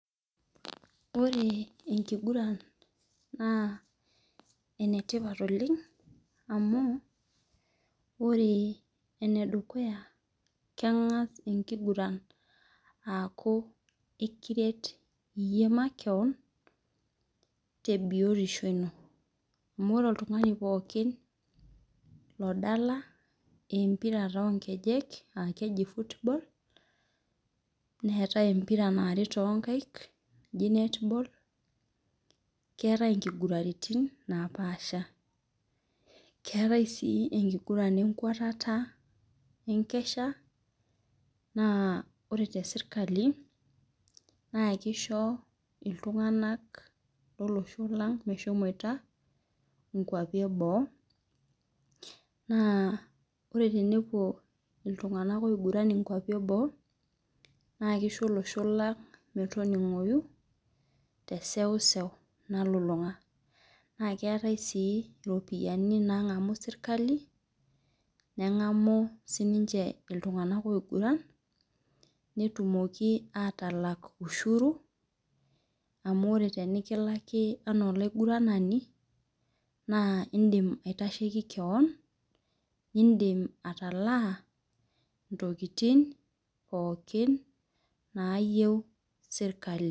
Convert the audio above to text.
Ore enkiguran na enetipat oleng amu ore enedukuya kengas enkiguranaaki ekiret iyie makeon tebiotisho ino amu ore oltungani pookin odala empira onkej neetae empira naari tonkaik naji netball keetae nkiguratin napaasha keetai si enkiguran enkwetata enkesha na ore teserkali ma kisho ltunganak lolosholang meshomoita inkwapi eboo na ore tenepuo ltunganak nkwapi eboo na kisho olosho lang metoningoi teseusew nalulunga nakeetae si ropiyani nangamu serkali ningamu sininche ltunganak oiguran netumoki atalak ushuru amu ore tenikilaki na olaigurani na indim aitashieki keon indim atalaa ntokitin pookin nayieu serkali.